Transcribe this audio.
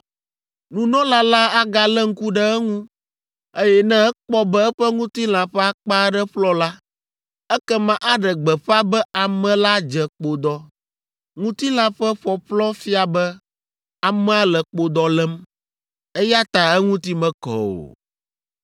Nunɔla la agalé ŋku ɖe eŋu, eye ne ekpɔ be eƒe ŋutilã ƒe akpa aɖe ƒlɔ la, ekema aɖe gbeƒã be ame la dze kpodɔ. Ŋutilã ƒe ƒɔƒlɔ fia be amea le kpodɔ lém, eya ta eŋuti mekɔ o.